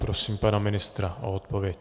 Prosím pana ministra o odpověď.